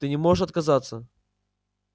ты не можешь отказаться